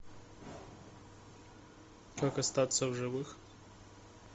как остаться в живых